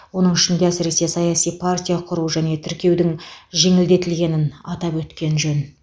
оның ішінде әсіресе саяси партия құру және тіркеудің жеңілдетілгенін атап өткен жөн